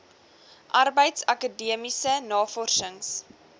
arbeids akademiese navorsings